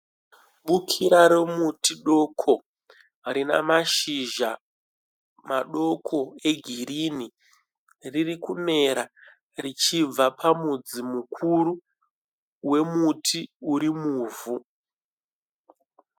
Bukira remuti doko rine mashizha madoko egirinhi riri kumera richibva pamudzi mukuru wemuti uri muvhu.